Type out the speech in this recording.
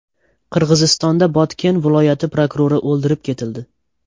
Qirg‘izistonda Botken viloyati prokurori o‘ldirib ketildi.